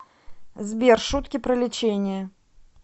сбер шутки про лечение